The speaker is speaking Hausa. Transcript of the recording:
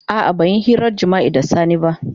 A'a ban yi hirar jima'i da Sani ba.